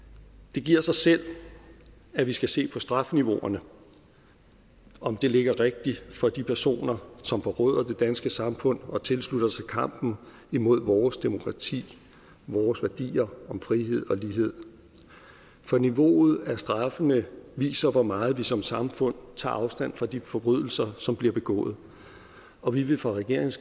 det giver sig selv at vi skal se på strafniveauerne om de ligger rigtigt for de personer som forråder det danske samfund og tilslutter sig kampen imod vores demokrati vores værdier om frihed og lighed for niveauet af straffene viser hvor meget vi som samfund tager afstand fra de forbrydelser som bliver begået og vi vil fra regeringens